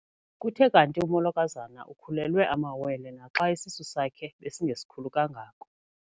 Kuthe kanti umolokazana ukhulelwe amawele naxa isisu sakhe besingesikhulu kangako.